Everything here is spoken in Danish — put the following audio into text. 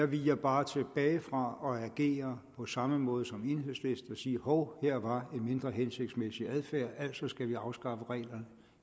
viger bare tilbage fra at agere på samme måde som enhedslisten og sige hov her var en mindre hensigtsmæssig adfærd altså skal vi afskaffe reglerne